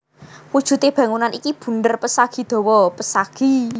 Wujude bangunan iki bunder pesagi dawa pesagi